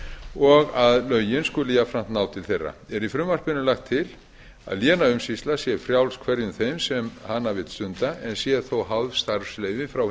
og að lögin skuli jafnframt ná til þeirra er í frumvarpinu lagt til að lénaumsýsla sé frjáls hverjum þeim sem hana vill stunda en sé þó háð starfsleyfi frá hinu